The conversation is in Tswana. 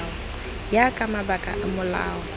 ya ka mabaka a molao